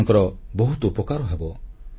ସେମାନଙ୍କର ବହୁତ ଉପକାର ହେବ